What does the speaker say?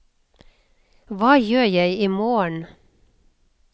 hva gjør jeg imorgen